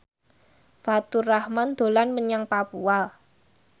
Faturrahman dolan menyang Papua